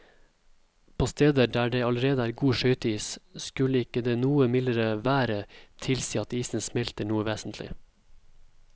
På steder der det allerede er god skøyteis, skulle ikke det noe mildere været tilsi at isen smelter noe vesentlig.